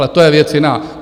Ale to je věc jiná.